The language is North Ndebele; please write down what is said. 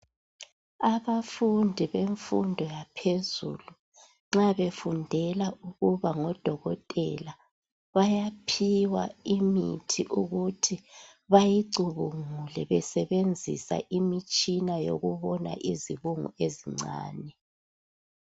Abafundi bemfundo yaphezulu nxa befundela ukuba ngodokotela bayaphiwa imithi ukuthi bayicubungule besebenzisa imitshina yokubona izibungu ezincane.